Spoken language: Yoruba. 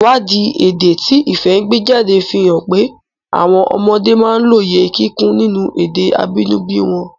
Ìwádìí èdè tí Ifẹ̀ gbé jáde fi hàn pé àwọn ọmọdé máa ń lóye kíkún nínú èdè abínibí wọn.